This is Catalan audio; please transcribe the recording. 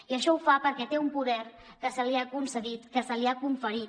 i això ho fa perquè té un poder que se li ha concedit que se li ha conferit